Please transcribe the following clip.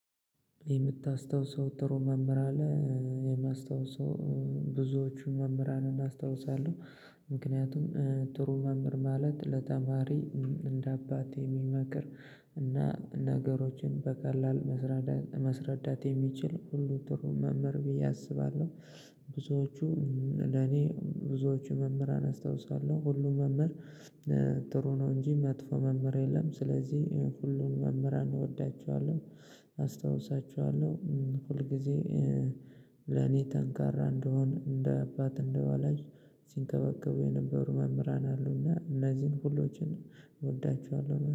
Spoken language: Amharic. የምታስታውሰው ጥሩ መምህር አለ? የማስታውሰው ብዙዎችን መምህራንን አስታውሳለሁ። ምክንያቱም ጥሩ መምህር ማለት ለተማሪ እንደ አባት የሚመክር እና ነገሮችን በቀላል ማስረዳት የሚችል ሁሉ ጥሩ መምህር ብዬ አስባለሁ። ብዙዎቹ ለኔ ብዙዎቹ መምህራን አስታውሳለሁ ሁሉም መምህር ጥሩ ነው እንጂ መጥፎ መምህር የለም። ስለዚህ ሁሉን መምህራን እንወዳቸዋለሁ። አስታውሳቸዋለሁ ሁል ጊዜ። ለኔ ጠንካራ እንደሆን እንደ አባት እንደወላጅ ሲንከባከቡ የነበሩ መምህራን አሉና እነዚህን ሁሎችን እወዳቸዋለሁ